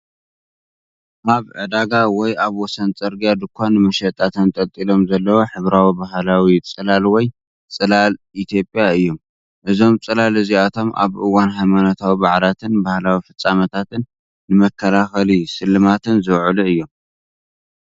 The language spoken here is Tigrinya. ኣብ ዕዳጋ ወይ ኣብ ወሰን ጽርግያ ድኳን ንመሸጣ ተንጠልጢሎም ዘለዉ ሕብራዊ ባህላዊ ጽላል ወይ ጽላል ኢትዮጵያ እዮም። እዞም ጽላል እዚኣቶም ኣብ እዋን ሃይማኖታዊ በዓላትን ባህላዊ ፍጻሜታትን ንመከላኸልን ስልማትን ዝውዕሉ እዮም።